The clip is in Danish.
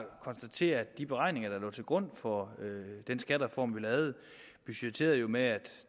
konstatere at de beregninger der lå til grund for den skattereform vi lavede jo budgetterede med at